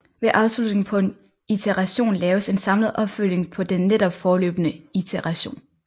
Ved afslutningen på en iteration laves en samlet opfølgning på den netop forløbne iteration